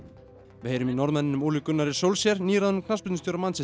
við heyrum í Norðmanninum Ole Gunnari nýráðnum knattspyrnustjóra Manchester